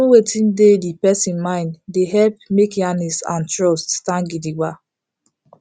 to know wetin dey the person mind dey helep make yarnings and trust stand gidigba